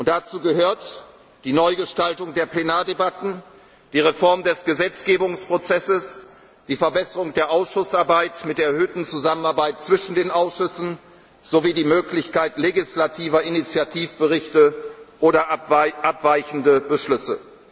worden. Dazu gehören die Neugestaltung der Plenardebatten, die Reform des Gesetzgebungsprozesses, die Verbesserung der Ausschussarbeit mit der verstärkten Zusammenarbeit zwischen den Ausschüssen sowie die Möglichkeit legislativer Initiativberichte oder abweichender Beschlüsse.